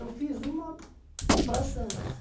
Eu fiz uma para Santos.